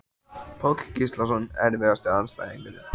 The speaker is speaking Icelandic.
Páll Gíslason Erfiðasti andstæðingur?